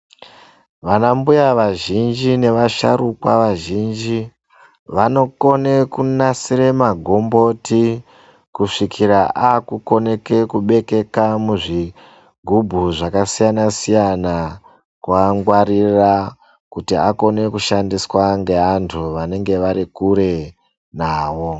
Vanambuya vazhinji nevasharukwa vazhinji vanokone kunasire magomboti kusvikira akukoneke kubekeka muzvigubhu zvakasiyana siyana kuangwarira kuti akone kushandiswa ngeantu vanenge vari kure nawo.